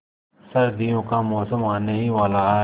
सर्दियों का मौसम आने ही वाला है